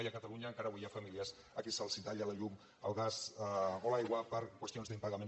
i a catalunya encara avui hi ha famílies a qui se’ls talla la llum el gas o l’aigua per qüestions d’impagament